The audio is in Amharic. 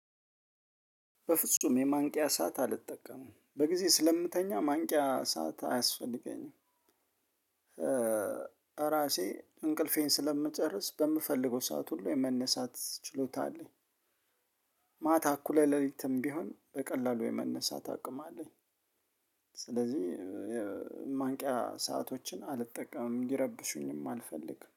በፍጹም የማንቂያ ሰዓት አልጠቀምም በጊዜ ስለምተኛ ማንቂያ ሰዓት አያስፈልገኝም ራሴ እንቅልፌን ስለምጨርስ በምፈልገው ሰዓት ሁሉ የመነሳት ችሎታ አለኝ። ማታ እኩለ ሌሊትም ቢሆን በቀላሉ የመነሳት አቅም አለኝ። ስለዚህ ማንቂያ ሰአቶችን አልጠቀምም ሊረብሹኝም አልፈልግም